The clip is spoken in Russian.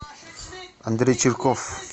андрей чирков